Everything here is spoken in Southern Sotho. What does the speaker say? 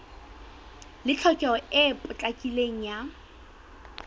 le tlhokeho e potlakileng ya